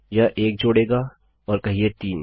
यह एक जोड़ेगा और कहिये 3